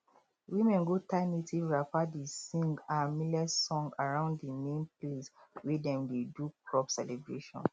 women go tie native wrapper dey sing um millet song around the main place wey dem dey do crop celebration